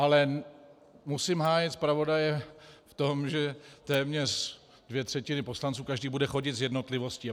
Ale musím hájit zpravodaje v tom, že téměř dvě třetiny poslanců, každý bude chodit s jednotlivostí.